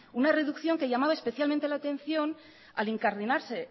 una reducción que llamaba especialmente la atención al incardinarse